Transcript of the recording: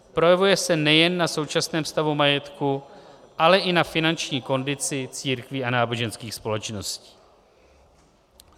Projevuje se nejen na současném stavu majetku, ale i na finanční kondici církví a náboženských společností.